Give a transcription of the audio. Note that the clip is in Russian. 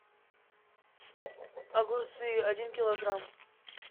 огурцы один килограмм